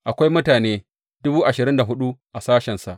Akwai mutane dubu ashirin da hudu a sashensa.